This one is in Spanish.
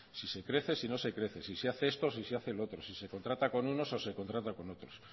si se crece si no se crece si se hace esto o se si hace lo otro si se contrata con unos o se contrata con otros